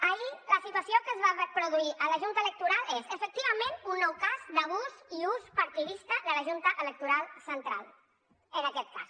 ahir la situació que es va produir a la junta electoral és efectivament un nou cas d’abús i ús partidista de la junta electoral central en aquest cas